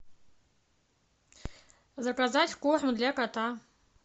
заказать корм для кота